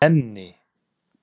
Nenni